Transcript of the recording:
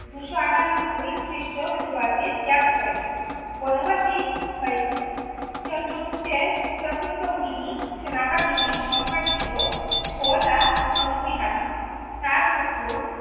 দুশো আঠান্নব্বই খ্রষ্টপূর্বাব্দে ত্যাগ করেন বনবাসী হয়েছেন। চন্দ্রগুপ্তের সেনাবাহিনীর সংখ্যা ছিল, ছয় লাখ নব্বই হাজার। তার পুত্র,